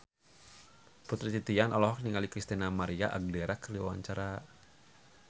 Putri Titian olohok ningali Christina María Aguilera keur diwawancara